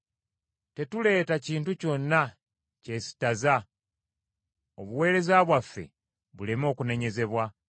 Tetuleeta kintu kyonna kyesittaza, obuweereza bwaffe buleme okunenyezebwa,